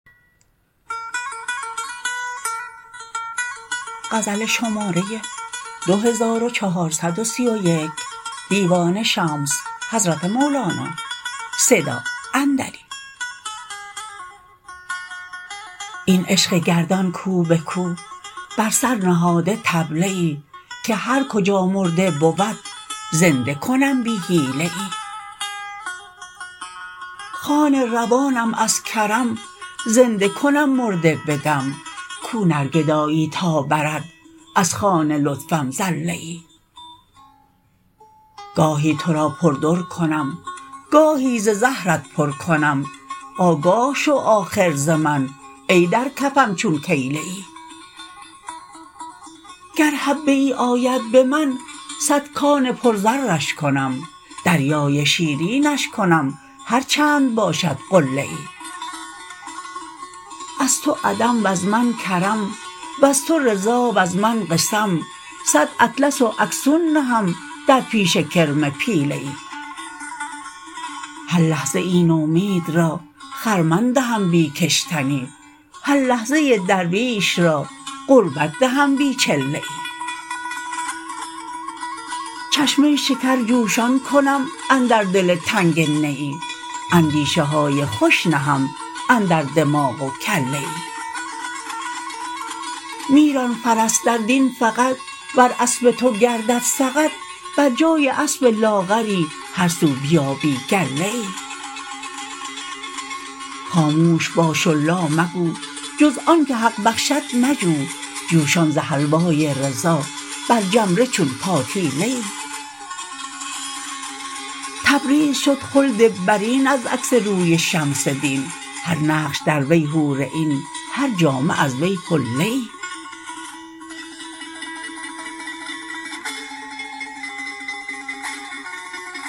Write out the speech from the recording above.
این عشق گردان کو به کو بر سر نهاده طبله ای که هر کجا مرده بود زنده کنم بی حیله ای خوان روانم از کرم زنده کنم مرده بدم کو نرگدایی تا برد از خوان لطفم زله ای گاهی تو را در بر کنم گاهی ز زهرت پر کنم آگاه شو آخر ز من ای در کفم چون کیله ای گر حبه ای آید به من صد کان پرزرش کنم دریای شیرینش کنم هر چند باشد قله ای از تو عدم وز من کرم وز تو رضا وز من قسم صد اطلس و اکسون نهم در پیش کرم پیله ای هر لحظه نومید را خرمن دهم بی کشتنی هر لحظه درویش را قربت دهم بی چله ای چشمه شکر جوشان کنم اندر دل تنگ نیی اندیشه های خوش نهم اندر دماغ و کله ای می ران فرس در دین فقط ور اسب تو گردد سقط بر جای اسب لاغری هر سو بیابی گله ای خاموش باش و لا مگو جز آن که حق بخشد مجو جوشان ز حلوای رضا بر جمره چون پاتیله ای تبریز شد خلد برین از عکس روی شمس دین هر نقش در وی حور عین هر جامه از وی حله ای